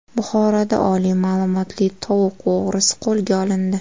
Buxoroda oliy ma’lumotli tovuq o‘g‘risi qo‘lga olindi.